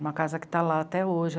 Uma casa que está lá até hoje.